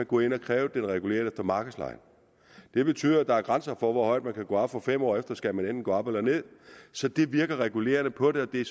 gå ind og kræve den reguleret efter markedslejen det betyder at der er grænser for hvor højt man kan gå op for fem år efter skal man enten gå op eller ned så det virker regulerende på det og det er